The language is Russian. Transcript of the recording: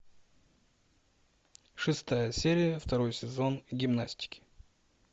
шестая серия второй сезон гимнастики